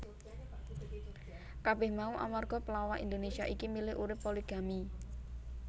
Kabeh mau amarga pelawak Indonesia iki milih urip poligami